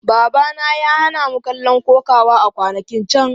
Babana ya hana mu kallon kokawa a kwanakin can.